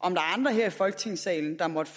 om der er andre her i folketingssalen der måtte